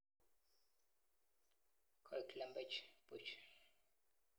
Koek "Lembech buch."